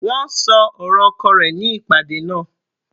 Wọ́n ṣọ ọ̀rọ̀ oko rẹ̀ ní ìpàdé náà.